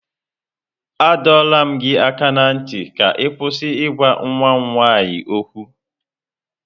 A dọọrọ m gị aka ná ntị ka ị kwụsị ịgwa nwa m nwaanyị okwu!